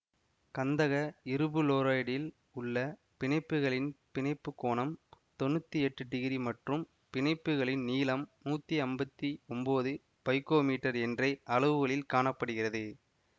கந்தக இருபுளோரைடில் உள்ள பிணைப்புகளின் பிணைப்புக் கோணம் தொன்னூத்தி எட்டு டிகிரி மற்றும் பிணைப்புகளின் நீளம் நூத்தி அம்பத்தி ஒம்போது பைக்கோ மீட்டர் என்ற அளவுகளில் காண படுகிறது